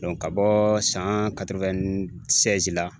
ka bɔɔ san la